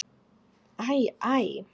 Æ, æ!